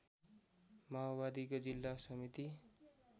माओवादीको जिल्ला समिति